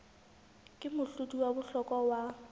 ke mohlodi wa bohlokwa wa